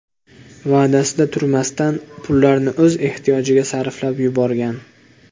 va’dasida turmasdan, pullarni o‘z ehtiyojiga sarflab yuborgan.